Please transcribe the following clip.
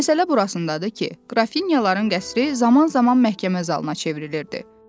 Məsələ burasındadır ki, qrafinyaların qəsri zaman-zaman məhkəmə zalına çevrilirdi.